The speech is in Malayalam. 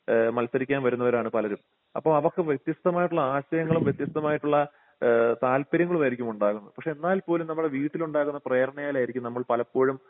ഏഹ് മത്സരിക്കാൻ വരുന്നവരാണ് പലരും അപ്പൊ അവർക്ക് വ്യത്യസ്ത മായിട്ടുള്ള ആശയങ്ങളും വ്യത്യസ്ത മായിട്ടുള്ള ഏഹ് താൽപര്യങ്ങളുമായിരിക്കും ഉണ്ടാവുന്നത് പക്ഷേ എന്നാൽപോലും നമ്മുടെ വീട്ടിൽ ഉണ്ടാകുന്ന പ്രേരണയാൽ ആയിരിക്കും നമ്മൾ പലപ്പോഴും